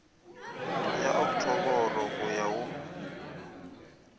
ya oktoboro go ya go